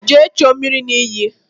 Jee chuo mmiri n'iyi!